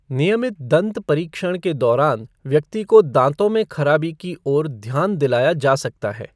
नियमित दंत परीक्षण के दौरान व्यक्ति को दाँतों में खराबी की ओर ध्यान दिलाया जा सकता है।